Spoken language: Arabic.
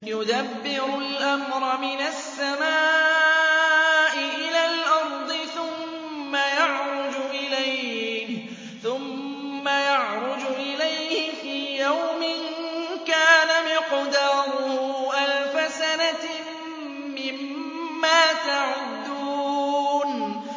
يُدَبِّرُ الْأَمْرَ مِنَ السَّمَاءِ إِلَى الْأَرْضِ ثُمَّ يَعْرُجُ إِلَيْهِ فِي يَوْمٍ كَانَ مِقْدَارُهُ أَلْفَ سَنَةٍ مِّمَّا تَعُدُّونَ